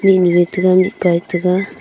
emi e taga mihpa e taga.